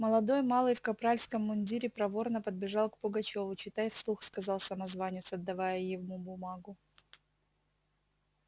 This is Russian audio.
молодой малый в капральском мундире проворно подбежал к пугачёву читай вслух сказал самозванец отдавая ему бумагу